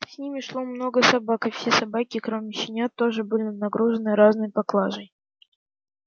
с ними шло много собак и все собаки кроме щенят тоже были нагружены разной поклажей